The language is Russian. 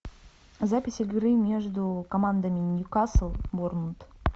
запись игры между командами ньюкасл борнмут